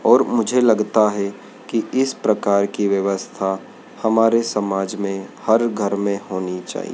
और मुझे लगता है कि इस प्रकार की व्यवस्था हमारे समाज में हर घर में होनी चाहिए।